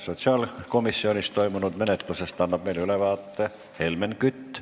Sotsiaalkomisjonis toimunud menetlusest annab meile ülevaate Helmen Kütt.